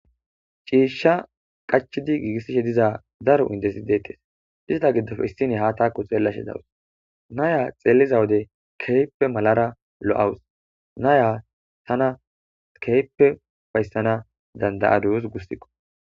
Ciishsha qachidi giigissishe diza daro indesi deettes izaa giddofe issine ha taakko xeelashe dawus naya xeelliza wode keyppe malara lo7awus naya tana keyppe fayssana dandayaduyos gussiqo